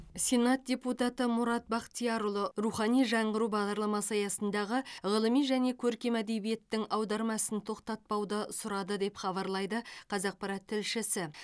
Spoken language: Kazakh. сенат депутаты мұрат бақтиярұлы рухани жаңғыру бағдарламасы аясындағы ғылыми және көркем әдебиеттің аударма ісін тоқтатпауды сұрады деп хабарлайды қазақпарат тілшісі